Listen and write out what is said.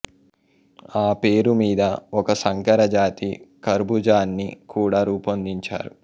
ఆ పేరు మీద ఒక సంకర జాతి కర్బూజాని కూడా రూపొందించారు